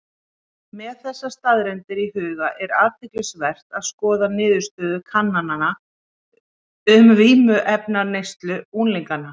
Með þessar staðreyndir í huga er athyglisvert að skoða niðurstöður kannana um vímuefnaneyslu unglinga.